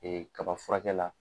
Ee kaba furakɛ la.